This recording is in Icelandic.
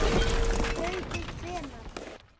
Haukur: Hvenær?